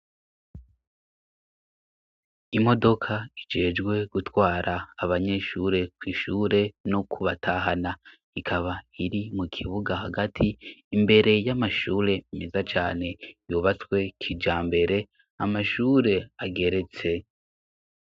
Imodoka ijejwe gutwara abanyeshure kw'ishure no kubatahana ikaba iri mu kibuga hagati imbere y'amashure meza cane yubatswe kija mbere amashure ageretse.